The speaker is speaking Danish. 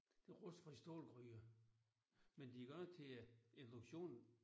Rustfri stålgryder. Men de er godt nok til øh induktion